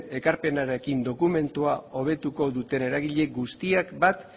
ekarpenarekin dokumentuak hobetuko duten eragile guztiek bat